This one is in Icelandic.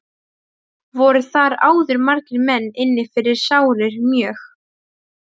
Voru þar áður margir menn inni fyrir sárir mjög.